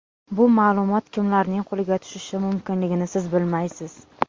Bu ma’lumot kimlarning qo‘liga tushishi mumkinligini siz bilmaysiz.